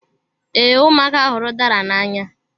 Ee, ụmụaka hụrụ udara n'anya.